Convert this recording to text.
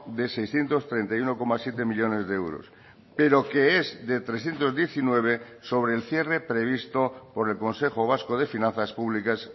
de seiscientos treinta y uno coma siete millónes de euros pero que es de trescientos diecinueve sobre el cierre previsto por el consejo vasco de finanzas publicas